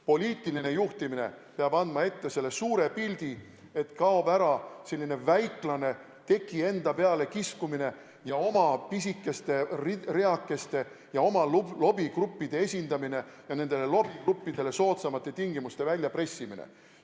Poliitiline juhtimine peab andma ette selle suure pildi, nii et kaob ära selline väiklane teki enda peale kiskumine ja oma pisikeste reakeste ja oma lobigruppide esindamine ja nendele lobigruppidele soodsamate tingimuste väljapressimine.